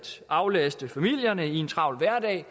aflaste familierne i en travl hverdag at